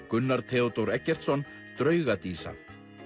Gunnar Theodór Eggertsson drauga dísa